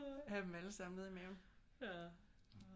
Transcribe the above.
Have dem alle sammen ned i maven